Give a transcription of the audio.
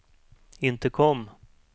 intercom